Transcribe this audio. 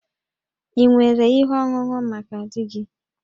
Ị nwere ihe ọṅụṅụ maka di gị?